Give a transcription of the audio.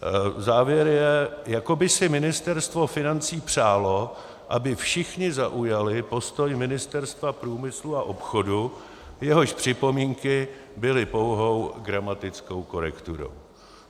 Závěr je: jako by si Ministerstvo financí přálo, aby všichni zaujali postoj Ministerstva průmyslu a obchodu, jehož připomínky byly pouhou gramatickou korekturou.